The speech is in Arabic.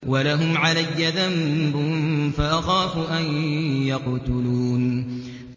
وَلَهُمْ عَلَيَّ ذَنبٌ فَأَخَافُ أَن يَقْتُلُونِ